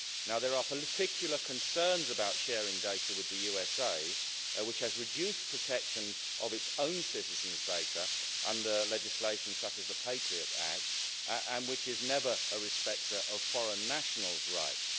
There are particular concerns about sharing data with the USA, which has reduced protection of its own citizens' data under legislation such as the Patriot Act and which is never a respecter of foreign nationals' rights.